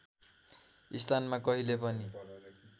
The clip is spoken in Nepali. स्थानमा कहिल्यै पनि